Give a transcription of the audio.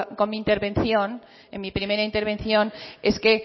con mi primera intervención es que